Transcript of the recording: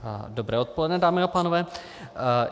Dobré odpoledne, dámy a pánové.